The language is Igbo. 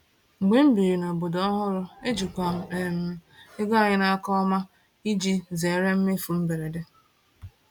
Mgbe m biri n’obodo ọhụrụ, ejikwa m um ego anyị n’aka ọma iji zere mmefu mberede.